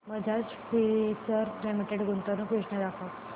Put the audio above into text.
Bajaj Finserv limited गुंतवणूक योजना दाखव